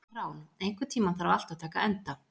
Rán, einhvern tímann þarf allt að taka enda.